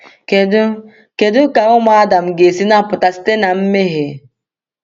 Kedu Kedu ka ụmụ Adam ga-esi napụta site na mmehie?